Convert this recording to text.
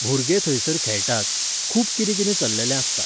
भुरगे थंयसर खेळटात, खूब कितें कितें चललेलें आसता.